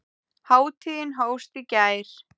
Hátíðin hófst í gær.